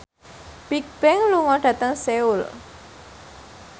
Bigbang lunga dhateng Seoul